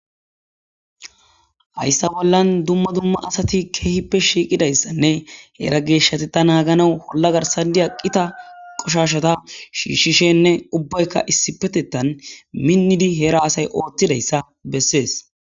hayssa bollan dumma dumma asati keehippe shiiqidayssanne heera geeshshate ta naagana holla garsadi aqqita qoshashata shiishshishenne ubbaykka issipetetan minnidi heera asay ooththidayssa bessees